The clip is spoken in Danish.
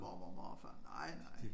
Mormor og morfar nej de